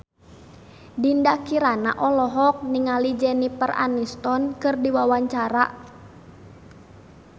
Dinda Kirana olohok ningali Jennifer Aniston keur diwawancara